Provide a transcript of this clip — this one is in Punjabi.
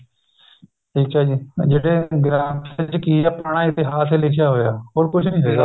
ਠੀਕ ਏ ਜੀ ਜਿਹੜੇ ਗ੍ਰੰਥ ਚ ਕੀ ਆਪਣਾ ਨਾ ਇਤਿਹਾਸ ਲਿਖਿਆ ਹੋਇਆ ਹੋਰ ਕੁੱਝ ਨੀ ਹੈਗਾ